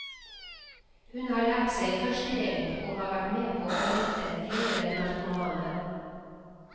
Hun har lært seg førstehjelp og har vært med på å redde flere narkomane.